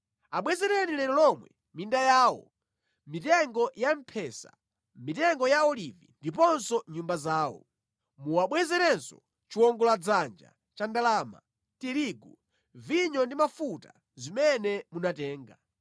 Abwezereni lero lomwe minda yawo, mitengo ya mphesa, mitengo ya olivi ndiponso nyumba zawo. Muwabwezerenso chiwongoladzanja cha ndalama, tirigu, vinyo ndi mafuta zimene munatenga.”